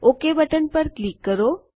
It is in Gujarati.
ઓક બટન પર ક્લિક કરો